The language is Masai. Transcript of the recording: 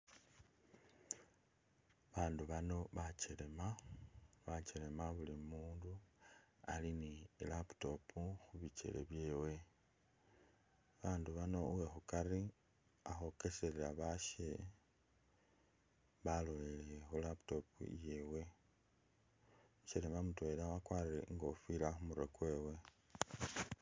Abandu bano bakyelema, bakyelema buli umundu ali ne ilaptop khubikele byewe, abandu bano uwekhukari ali khukhwokeselela abasho balolelele khu laptop iyewe, umukyelema mutwela wakwarire ikofila khumurwe kwewe.